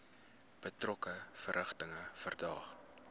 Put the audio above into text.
betrokke verrigtinge verdaag